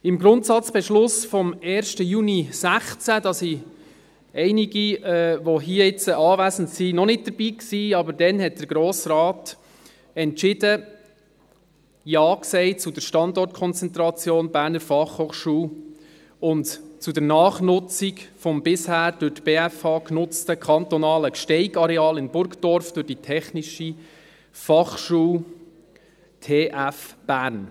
Im Grundsatzbeschluss vom 1. Juni 2016, da waren einige, die jetzt hier anwesend sind, noch nicht dabei, aber damals hat der Grosse Rat entschieden und Ja gesagt zur Standortkonzentration der Berner Fachhochschule (BFH) und zur Nachnutzung des bisher durch die BFH genutzten kantonalen Gsteig-Areals in Burgdorf durch die Technische Fachschule Bern (TF Bern).